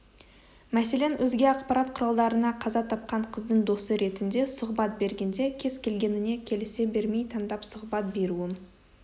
мәселен өзге ақпарат құралдарына қаза тапқан қыздың досы ретінде сұхбат бергенде кез келгеніне келісе бермей таңдап сұхбат беруім